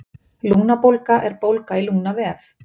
lungnabólga er bólga í lungnavef